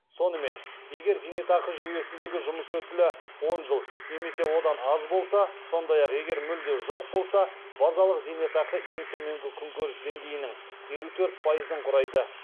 сонымен егер зейнетақы жүйесіндегі жұмыс өтілі он жыл немесе одан аз болса сондай ақ егер мүлде жоқ болса базалық зейнетақы ең төменгі күнкөріс деңгейінің елу төрт пайызын құрайды